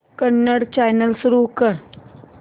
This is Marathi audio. कन्नड चॅनल सुरू कर